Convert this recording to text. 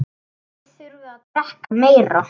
Þið þurfið að drekka meira.